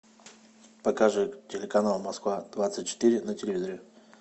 покажи телеканал москва двадцать четыре на телевизоре